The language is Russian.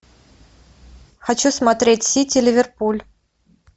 хочу смотреть сити ливерпуль